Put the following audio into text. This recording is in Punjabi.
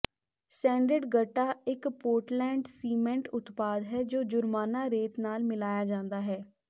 ਸੈਂਡਡ ਗਰਟਾ ਇਕ ਪੋਰਟਲੈਂਡ ਸੀਮੈਂਟ ਉਤਪਾਦ ਹੈ ਜੋ ਜੁਰਮਾਨਾ ਰੇਤ ਨਾਲ ਮਿਲਾਇਆ ਜਾਂਦਾ ਹੈ